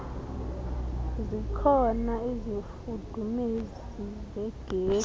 zikhona izifudumezi zegesi